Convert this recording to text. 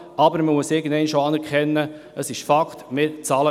Aber irgendwann muss man auch anerkennen, dass dies ein Fakt ist.